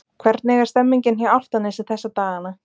Hvernig er stemningin hjá Álftanesi þessa dagana?